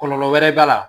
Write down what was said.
Kɔlɔlɔ wɛrɛ b'a la